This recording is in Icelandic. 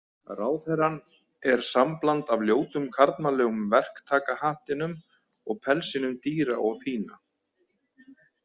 Ráðherrann er sambland af ljótum karlmannlegum verktakahattinum og pelsinum dýra og fína.